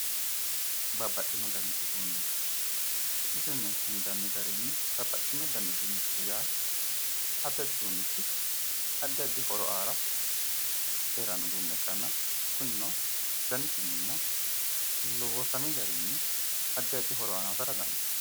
Babbaxino dani uduune su'misinni hendanni garinni babbaxewo dani uduunicho yaa addi addi uduunichi horo aara heranno uduunicho ikkana kunino danisinni ikkana loosami garinni addi addi horo aana hosata danidaano